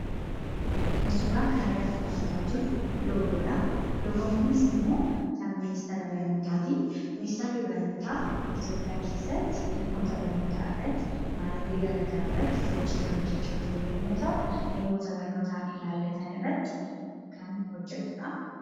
Kan suuraa kanarratti argaa jirru loogoodhaa. Loogoon kunis immoo kan ministeera barnootati. miniateerri barnoota Itiyoopiyaa keessatti dhimmoota barnootaa irratti naannoolee garagaraa irratti hojii kan hojjechaa jiru yemmuu ta'u, dhimmoota barnootaan ilaallatan irratti kan hojjetudha.